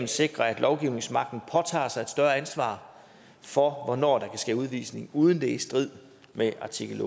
sikre at lovgivningsmagten påtager sig et større ansvar for hvornår der kan ske udvisning uden at det er i strid med artikel